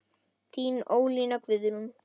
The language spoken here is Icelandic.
Þín Ólína Guðrún.